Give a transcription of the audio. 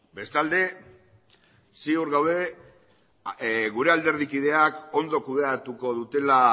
bestalde ziur gaude gure alderdikideak ondo kudeatuko dutela